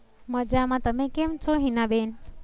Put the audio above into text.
મજા મા. તમે કેમ છો હીના બેન?